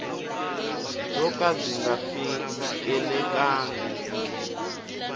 byo ka byi nga fikelelangi